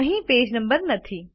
અહીં page number નથી